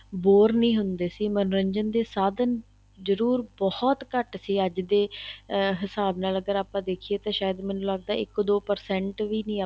bore ਨਹੀਂ ਸੀ ਹੁੰਦੇ ਸੀ ਮੰਨੋਰੰਜਨ ਦੇ ਸਾਧਨ ਜਰੂਰ ਬਹੁਤ ਘੱਟ ਸੀ ਅੱਜ ਦੇ ਅਹ ਹਿਸਾਬ ਨਾਲ ਅਗਰ ਆਪਾਂ ਦੇਖੀਏ ਤਾਂ ਸ਼ਾਇਦ ਮੈਨੂੰ ਲੱਗਦਾ ਏ ਇੱਕ ਦੋ percent ਵੀ ਨਹੀਂ ਆਪਾਂ